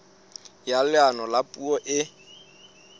ya leano la puo e